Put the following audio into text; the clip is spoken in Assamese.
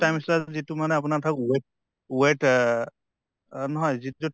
trimester ত যিটো মানে আপোনাৰ weight weight অহ অ নহয় যিটো